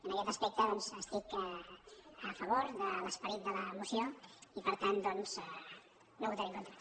en aquest aspecte doncs estic a favor de l’esperit de la moció i per tant doncs no hi votaré en contra